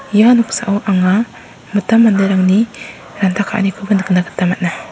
ia noksao anga mitam manderangni ranta ka·anikoba nikna gita man·a.